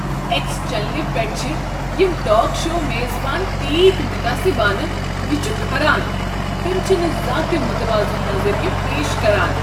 X چینلہ پیٹھ چھ یم ٹاک شو میزبان تیتۍ متعصبانہ، یہ چھ کھران۔ تم چھ نہٕ زانٛہہ تہٕ متوازن نظریہٕ پیش کران۔